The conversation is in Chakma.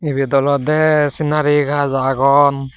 eyut olodeh senari gaj agon.